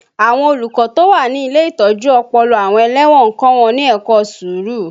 Àwọn olùkọ́ tó wà ní ilé ìtọ́jú ọpọlọ àwọn ẹlẹ́wọ̀n ń kọ́ wọn ní ẹ̀kọ́ sùúrù